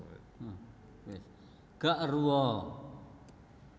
Gak eruh a